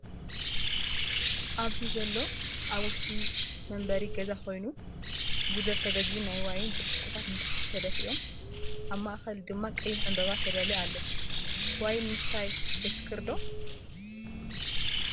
ኣብዚ ዘሎ ኣብ ውሽጢ መንበሪ ገዛ ኮይኑ ጉደር ተገዚኡ ናይ ዋይን ብርጭቆታት ንታሕቲ ተደፊኦም ኣብ ማእከል ድማ ቀይሕ ዕንበባ ተዳልዩ ኣሎ። ዋይን ምስታይ የስክር ዶ ?